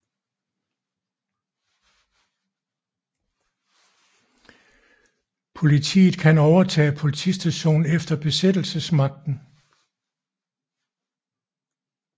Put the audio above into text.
Politiet kan overtage politistationen efter besættelsesmagten